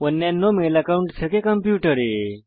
অন্যান্য mail account থেকে কম্পিউটারে